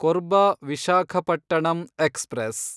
Korba Visakhapatnam express